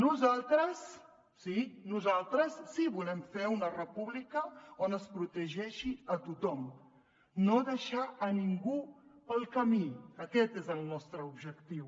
nosaltres sí nosaltres sí que volem fer una república on es protegeixi a tothom no deixar a ningú pel camí aquest és el nostre objectiu